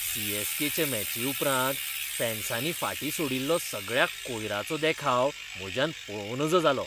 C. S. K. चे मॅची उपरांत फॅन्सानी फाटीं सोडिल्लो सगळ्या कोयराचो देखाव म्हज्यान पळंव नज जालो.